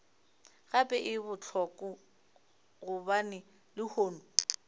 gape e bohloko gobane lehono